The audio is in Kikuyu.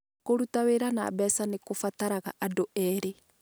Kũruta wĩra na mbeca nĩ kũbataraga andũ erĩ.